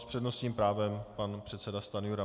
S přednostním právem pan předseda Stanjura.